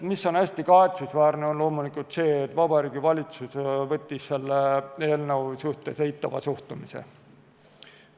Hästi kahetsusväärne on loomulikult see, et Vabariigi Valitsus võttis selle eelnõu suhtes eitava suhtumise.